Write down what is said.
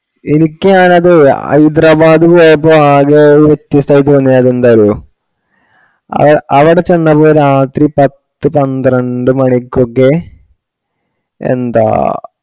എനിക്ക് ആണത് ഹൈദരാബാദ് പോയപ്പോ ആകെ വ്യത്യസ്ഥായി തോന്ന്യത് എന്താ അറിയോ അവ അവട ചെന്നപ്പോ രാത്രി പത്തു പണ്ട്രണ്ടു മണിക്കൊക്കെ എന്താ